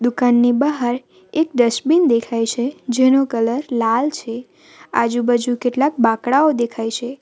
ઘરની બહાર એક ડસ્ટબિન દેખાય છે જેનો કલર લાલ છે આજુબાજુ કેટલાક બાંકડાઓ દેખાય છે.